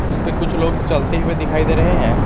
जिसपे कुछ लोग चलते हुए दिखाई दे रहे हैं।